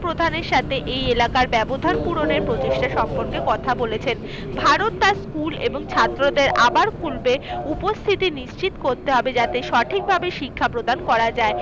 প্রধানের সাথে এই এলাকার ব্যাবধান পূরণের প্রচেষ্টা সম্পর্কে কথা বলেছেন। ভারত তার school এবং ছাত্রদের আবার খুলবে। উপস্থিতি নিশ্চিত করতে হবে যাতে সঠিকভাবে শিক্ষা প্রদান করা যায়।